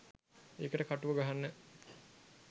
ඒකට කටුව ගහන්න